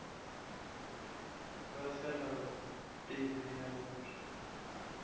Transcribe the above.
ba fela pelo ya gore